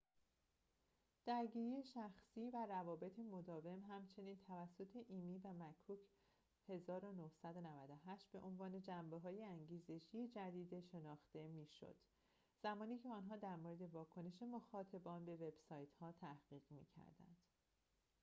«درگیری شخصی» و «روابط مداوم» همچنین توسط ایمی و مککورد 1998 به عنوان جنبه های انگیزشی جدید شناخته می‌شد زمانیکه آنها در مورد واکنش مخاطبان به وب سایت ها تحقیق می‌کردند